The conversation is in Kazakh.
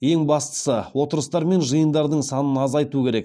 ең бастысы отырыстар мен жиындардың санын азайту керек